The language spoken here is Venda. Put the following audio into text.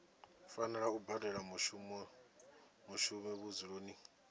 fanela u badela mushumi vhudzuloni